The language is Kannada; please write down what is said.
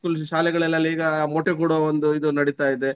High school ಶಾಲೆಗಳಲ್ಲಿ ಈಗ ಮೊಟ್ಟೆ ಕೊಡುವ ಒಂದು ಇದು ನಡಿತಾ ಇದೆ.